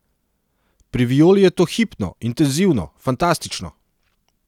Pri Violi je to hipno, intenzivno, fantastično.